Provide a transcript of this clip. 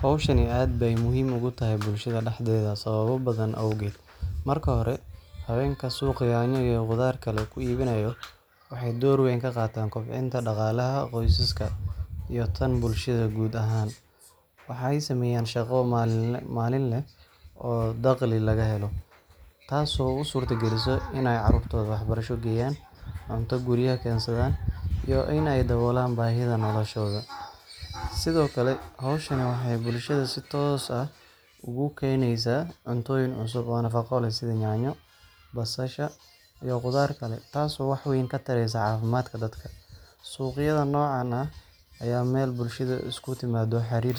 Hawshani aad bay muhiim oogu tahat bulshada dhaxdeeda sababo badan awgeed, markii hore haweenka suuqa ku ibinaayoo waxay dowr weyn kaqaataan kobcinta dhaqaalaha qoysaska iyo tan bulshada guud ahaan waxay smeeyaan shaqo maalinle ah oo dhakhli laga helo taaso usuurta gelisa inaay caruurtoda waxbarasho geeyan cunto guriya keensadaan iyo inaay dhaboolan baahida noloshooda sidokale hawshani waxay bulshada si toos ah ugu keneesa cuntoyin cusub oo nafaqo leh sido nyaanyo basaha iyo qudaar kale taasi wax weyn ka tareesa cafimadka dadka suqyada nocaan ah ayaa meel bulshada isku timaado xariir